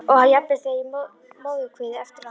Og jafnvel þegar í móðurkviði- eftir á að hyggja.